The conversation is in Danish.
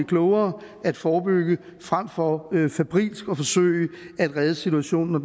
klogere at forebygge frem for febrilsk at forsøge at redde situationen når